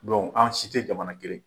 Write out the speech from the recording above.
an si tɛ jamana kelen.